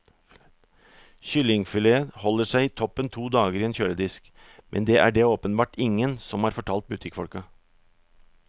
Kyllingfilet holder seg toppen to dager i en kjøledisk, men det er det åpenbart ingen som har fortalt butikkfolka.